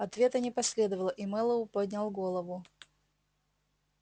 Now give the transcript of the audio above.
ответа не последовало и мэллоу поднял голову